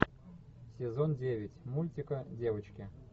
сезон девять мультика девочки